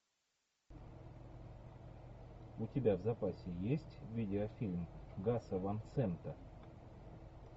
у тебя в запасе есть видеофильм гаса ван сента